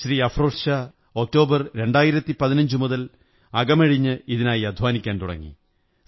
Shri Afroz Shah October 2015 മുതൽ അകമഴിഞ്ഞ് ഇതിനായി അധ്വാനിക്കാൻ തുടങ്ങി